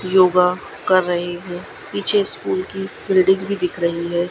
योगा कर रही हु पीछे स्कूल की बिल्डिंग भी दिख रही है।